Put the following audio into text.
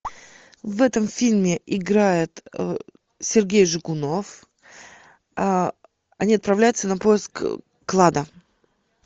в этом фильме играет сергей жигунов они отправляются на поиск клада